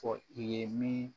Fɔ i ye min